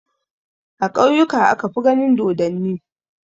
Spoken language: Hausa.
A ƙauyuka aka fi ganin dodonni.